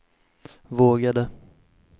vågade